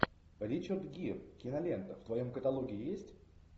ричард гир кинолента в твоем каталоге есть